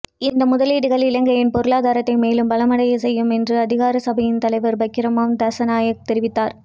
இந்த முதலீடுகள் இலங்கையின் பொருளாதாரத்தை மேலும் பலமடையச் செய்யும் என்று அதிகார சபையின் தலைவர் பராக்கிரம திசாநாயக்க தெரிவித்தார